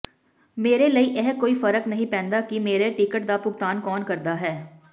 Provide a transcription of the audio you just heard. ਮੇਰੇ ਲਈ ਇਹ ਕੋਈ ਫ਼ਰਕ ਨਹੀਂ ਪੈਂਦਾ ਕਿ ਮੇਰੇ ਟਿਕਟ ਦਾ ਭੁਗਤਾਨ ਕੌਣ ਕਰਦਾ ਹੈ